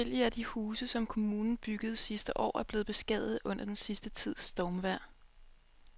Adskillige af de huse, som kommunen byggede sidste år, er blevet beskadiget under den sidste tids stormvejr.